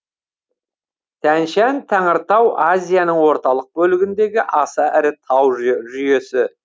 тянь шань тәңіртау азияның орталық бөлігіндегі аса ірі тау жүйесі